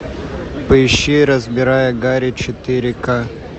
поищи разбирая гарри четыре к